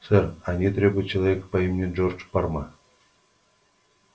сэр они требуют человека по имени джордж парма